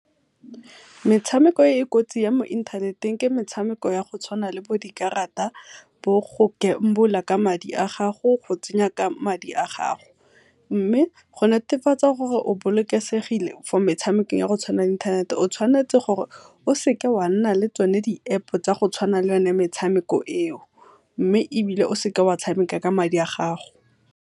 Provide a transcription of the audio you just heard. Metshameko e e kotsi ya mo inthaneteng ke metshameko ya go tshwana le bo dikarata, bo go gambler ka madi a gago, go tsenya ka madi a gago, mme go netefatsa gore o bolokesegile for metshameko ya go tshwana le inthanete, o tshwanetse gore o seke oa nna le tsone di-App tsa go tshwana le yo ne metshameko e o, mme ebile o seka wa tshameka ka madi a gago.